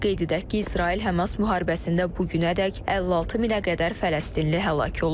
Qeyd edək ki, İsrail-Hamas müharibəsində bu günədək 56 minə qədər fələstinli həlak olub.